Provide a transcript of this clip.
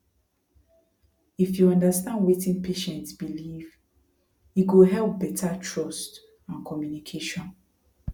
if you understand wetin patient believe e go help better trust and communication